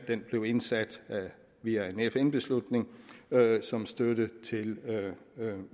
den blev indsat via en fn beslutning som støtte til